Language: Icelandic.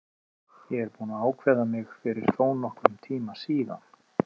Ég er búinn að ákveða mig fyrir þónokkrum tíma síðan.